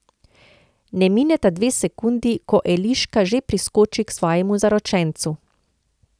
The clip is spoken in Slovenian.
Ne mineta dve sekundi, ko Eliška že priskoči k svojemu zaročencu.